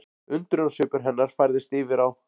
Undrunarsvipur hennar færðist yfir á